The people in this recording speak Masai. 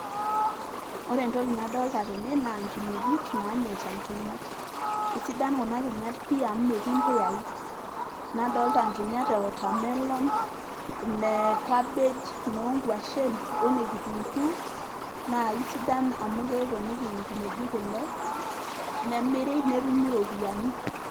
ore entoki nadolta tene naa nkinejik nanyaita nkinyat. isidan kuna kinyat pii amu metii impuyai nadolta nkinyat e watermelon ine cabbage inoonkuashen one kitunguu naa kisidan amu keponiki inkinejik kule nemiri netumi iropiyiani.